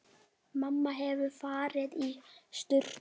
Mamma hefur farið í sturtu.